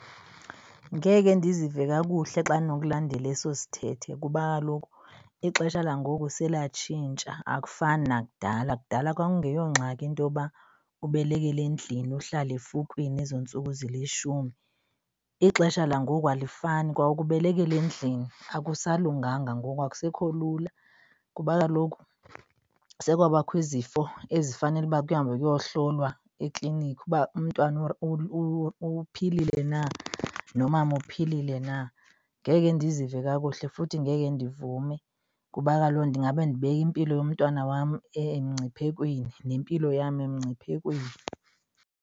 Ngeke ndizive kakuhle xa ndinokulandela eso sithethe kuba kaloku ixesha langoku selatshintsha akufani nakudala. Kudala kwakungeyongxaki into yoba ubelekele endlini uhlale efukwini iintsuku ezilishumi. Ixesha langoku alifani. Kwa ukubelekela endlini akusalunganga. Ngoku akusekho lula kuba kaloku sekwabakho izifo ezifanele uba kuhambe kuyohlolwa ekliniki uba umntwana uphilile na nomama uphilile na. Ngeke ndizive kakuhle futhi ngeke ndivume kuba kaloku ndingabe ndibeka impilo yomntwana wam emngciphekweni nempilo yam emngciphekweni.